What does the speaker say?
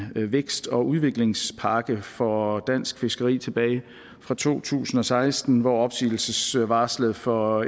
vækst og udviklingspakke for dansk fiskeri tilbage fra to tusind og seksten hvor opsigelsesvarslet for